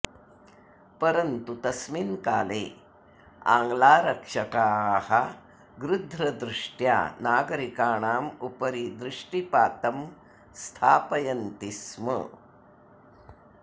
परन्तु तस्मिन् काले आङ्ग्लारक्षकाः गृध्रदृष्ट्या नागरिकाणाम् उपरि दृष्टिपातं स्थापयन्ति स्म